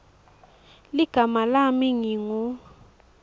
ligama lami ngingu